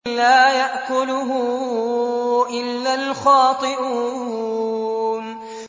لَّا يَأْكُلُهُ إِلَّا الْخَاطِئُونَ